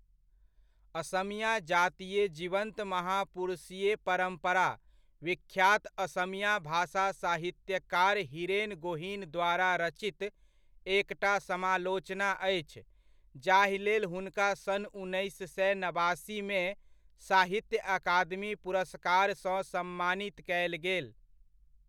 असमिया जातीय जीवन्त महापुरुषीय परम्परा, विख्यात असमिया भाषा साहित्यकार हीरेन गोहीन द्वारा रचित एकटा समालोचना अछि जाहिलेल हुनका सन् उन्नैस सए नबासीमे, साहित्य अकादमी पुरस्कारसँ सम्मानित कयल गेल।